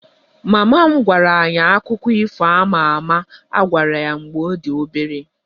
Mama m gwara anyị akụkọ ifo a ma ama a gwara ya mgbe ọ dị obere